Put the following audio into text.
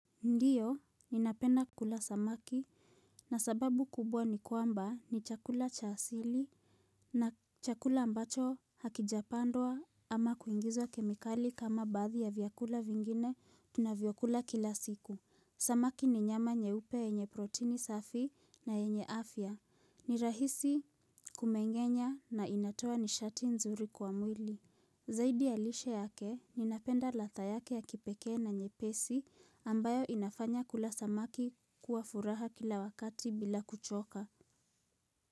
Ndio, ninapenda kula samaki na sababu kubwa ni kwamba ni chakula cha asili na chakula ambacho hakijapandwa ama kuingizwa kemikali kama baadhi ya vyakula vingine tunavyokula kila siku. Samaki ni nyama nyeupe yenye protini safi na yenye afya. Ni rahisi kumengenya na inatoa nishati nzuri kwa mwili. Zaidi ya lishe yake, ninapenda ladha yake ya kipekee na nyepesi ambayo inafanya kula samaki kuwa furaha kila wakati bila kuchoka.